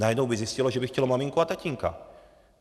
Najednou by zjistilo, že by chtělo maminku a tatínka.